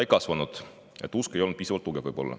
Ei kasvanud, usk ei olnud võib-olla piisavalt tugev.